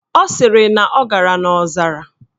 Ọ sịrị na ọ gara n' ọzara